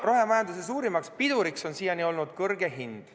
Rohemajanduse suurim pidur on siiani olnud kõrge hind.